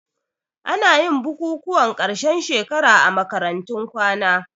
Anayin bukukuwan ƙarshen shekara a makarantun kwana